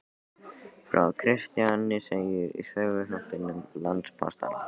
Frá Kristjáni segir í Söguþáttum landpóstanna.